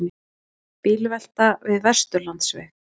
Bílvelta við Vesturlandsveg